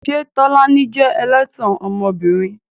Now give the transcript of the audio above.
Ṣé Tolani jẹ́ ẹlẹ́tàn ọmọbìnrin?